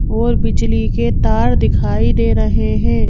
और बिजली के तार दिखाई दे रहे हैं।